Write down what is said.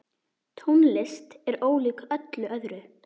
Tónlist er ólík öllu öðru.